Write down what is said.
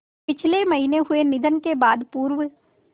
पिछले महीने हुए निधन के बाद पूर्व